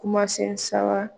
Kumasen sawa